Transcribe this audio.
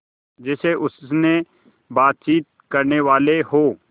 जैसे उनसे बातचीत करनेवाले हों